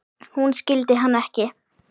Hún skildi hann ekki.